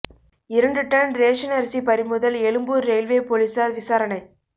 இரண்டு ton ration அரிசி பறிமுதல் எழும்பூர் ரெயில்வே போலீசார் விசாரணை